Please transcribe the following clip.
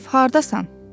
Vasif hardasan?